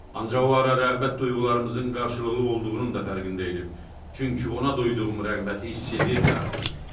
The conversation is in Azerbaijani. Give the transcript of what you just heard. Ancaq o ara rəğbət duyğularımızın qarşılıqlı olduğunun da fərqində idim, çünki ona duyduğum rəğbəti hiss edirdi artıq.